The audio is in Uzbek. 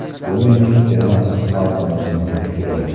Bu mening emas, xalqimizning fikri.